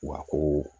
Wa ko